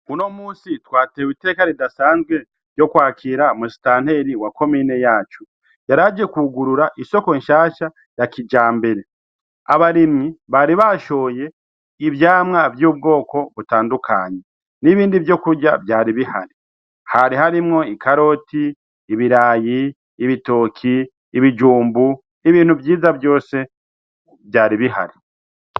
Muno musi twatewe iteka ridasanzwe vyo kwakira musitanteli wa komine yacu yaraje kugurura isoko nshasha ya kija mbere abarimyi bari bashoye ivyamwa vy'ubwoko butandukanyi n'ibindi vyo kurya vyari bihari hari harimwo i karoti ibirayi ibitoki ibijumbu ibintu vyiza vyose vyari bihari.